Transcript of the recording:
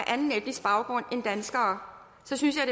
anden etnisk baggrund end danskere så synes